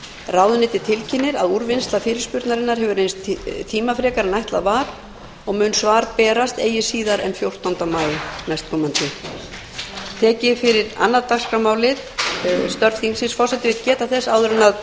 ráðuneytið tilkynnir að úrvinnsla fyrirspurnarinnar hefur reynst tímafrekari en ætlað var og mun svar berast eigi síðar en fjórtánda maí nk